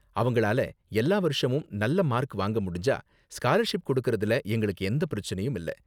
அவங்களால எல்லா வருஷமும் நல்ல மார்க் வாங்க முடிஞ்சா ஸ்காலர்ஷிப் கொடுக்கறதுல எங்களுக்கு எந்த பிரச்சனையும் இல்ல.